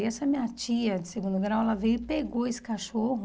E essa minha tia de segundo grau, ela veio e pegou esse cachorro...